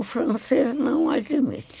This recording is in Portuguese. O francês não admite.